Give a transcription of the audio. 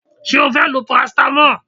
Ṣé o fẹ́ lo parasitamọ́ọ̀?